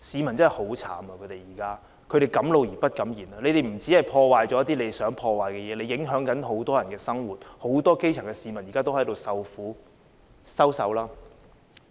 暴徒不僅破壞了一些他們想破壞的東西，還影響了很多人的生活，很多基層市民現正受苦。